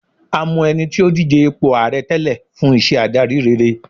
a mọ ẹni tí o dije ipo ààrẹ tẹlẹ fún iṣẹ adari rere